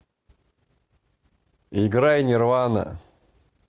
играй нирвана